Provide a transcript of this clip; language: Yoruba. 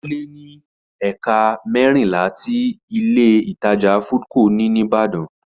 Ó lé ní ẹ̀ka mẹ́rìnlá tí Ilé-ìtajà Foodco ní ní Ìbàdàn